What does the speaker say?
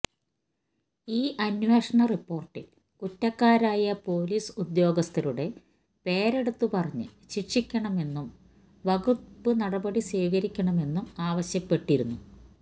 ഈ അന്വേഷണ റിപ്പോര്ട്ടില് കുറ്റക്കാരായ പോലീസ് ഉദ്യോഗസ്ഥരുടെ പേരെടുത്ത് പറഞ്ഞ് ശിക്ഷിക്കണമെന്നും വകുപ്പ് നടപടി സ്വീകരിക്കണമെന്നും ആവശ്യപ്പെട്ടിരുന്നു